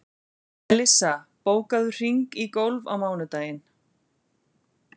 Melissa, bókaðu hring í golf á mánudaginn.